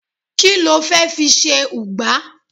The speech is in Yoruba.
ki lo fe fi se ugba